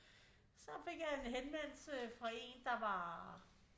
Så fik jeg en henvendelse fra en der var